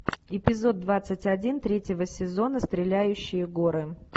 эпизод двадцать один третьего сезона стреляющие горы